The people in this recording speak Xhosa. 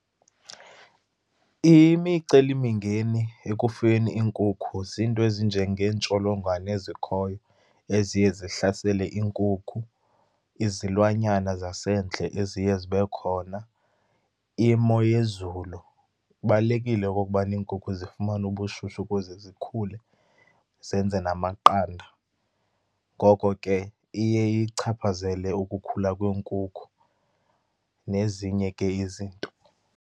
Imicelimingeni ekufuyeni iinkukhu ziinto ezinjengeentsholongwane ezikhoyo, eziye zihlasele iinkukhu, izilwanyana zasendle eziye zibe khona, imo yezulu. Kubalulekile okokubana iinkukhu zifumane ubushushu ukuze zikhule, zenze namaqanda. Ngoko ke iye iyichaphazele ukukhula kweenkukhu, nezinye ke izinto.